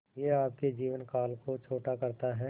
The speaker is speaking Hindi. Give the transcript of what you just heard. यह आपके जीवन काल को छोटा करता है